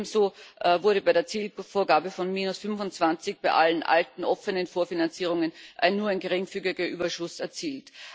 Ebenso wurde bei der Zielvorgabe von 25 bei allen alten offenen Vorfinanzierungen nur ein geringfügiger Überschuss erzielt.